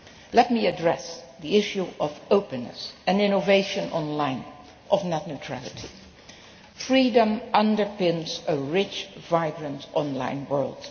Let me address the issue of openness and innovation online, and of net neutrality. Freedom underpins a rich, vibrant online world.